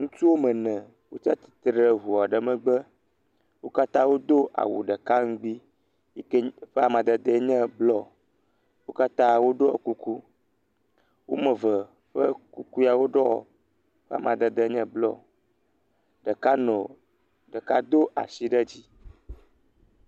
Ŋutsu wɔme ene wotsatsitre ɖe ʋua ɖe me, wo katã woɖo awu ɖeka ŋgbi yike ƒe made enye bluɔ, wo katã wo ɖɔ kuku, womeve ƒe kuku ya woɖɔ ƒe amadede enye bluɔ, ɖeka nɔ, ɖeka do asi ɖe dzi.